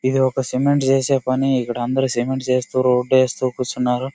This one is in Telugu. ఇది ఒక సిమెంట్ చేసే పని. ఇక్కడ అందరూ సిమెంట్ చేస్తుండ్రు. రోడ్ వేస్తూ కూర్చున్నారు .